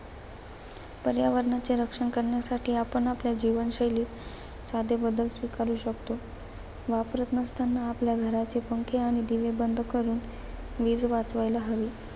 पर्यावरणाचे रक्षण करण्यासाठी आपण आपल्या जीवनशैलीत साधे बदल स्वीकारू शकतो. वापरत नसताना आपल्या घराचे पंखे आणि दिवे बंद करून वीज वाचवायला हवी.